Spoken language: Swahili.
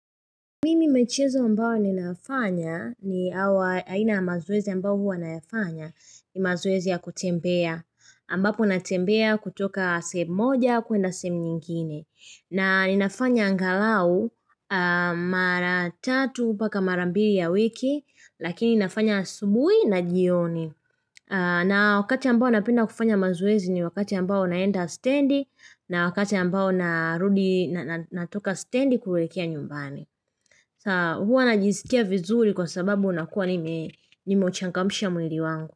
Mimi michezo ambayo ninafanya ni hawa aina ya mazoezi ambayo mimi huwa nafanya ni mazoezi ya kutembea. Ambapo natembea kutoka sehemu moja kuenda sehemu nyingine. Na ninafanya angalau mara tatu mpaka mara mbili ya wiki lakini ninafanya asubuhi na jioni. Na wakati ambao napenda kufanya mazoezi ni wakati ambao naenda stendi na wakati ambao na rudi natoka stendi kuelekea nyumbani. Sa huwa na najiskia vizuri kwa sababunakuwa nime uchangamsha mwili wangu.